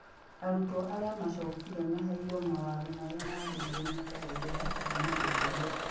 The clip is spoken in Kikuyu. Arutwo arĩa macokire maheirwo mawatho marĩa magĩrirwo nĩ kũhũthĩra kuma hĩndĩ ĩyo.